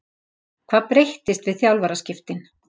Hvað breyttist við þjálfaraskiptin?